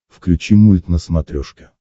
включи мульт на смотрешке